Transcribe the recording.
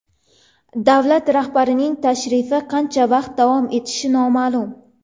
Davlat rahbarining tashrifi qancha vaqt davom etishi noma’lum.